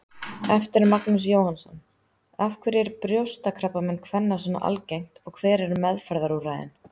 Eftir Magnús Jóhannsson Af hverju er brjóstakrabbamein kvenna svona algengt og hver eru meðferðarúrræðin?